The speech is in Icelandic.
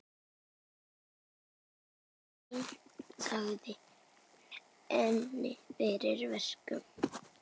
Enginn sagði henni fyrir verkum.